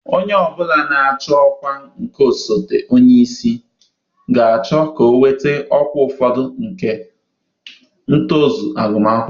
Onye ọ bụla na-achọ ọkwa nke osote onye isi oche ga-achọ ka ọ nweta ọkwa ụfọdụ nke ntozu agụmakwụkwọ.